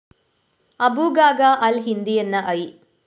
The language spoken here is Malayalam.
അബു ഖാഖ അല്‍ ഹിന്ദിയെന്ന ഐ